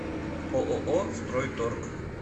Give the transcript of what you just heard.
ооо стройторг